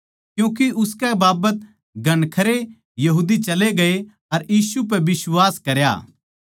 क्यूँके उसकै बाबत घणखरे यहूदी चले गये अर यीशु पै बिश्वास करया